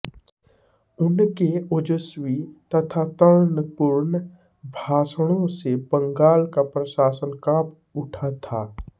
उनके ओजस्वी तथा तर्कपूर्ण भाषणों से बंगाल का प्रशासन कांप उठा था